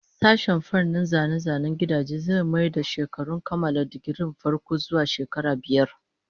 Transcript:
Sashen fannin zane-zanen gidajen zai mayar da shekarun kammala digirin farko zuwa shekara biyar